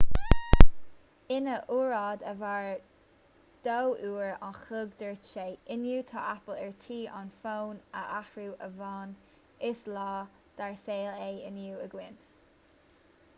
ina óráid a mhair 2 uair an chloig dúirt sé inniu tá apple ar tí an fón a athrú ó bhonn is lá dár saol é inniu againn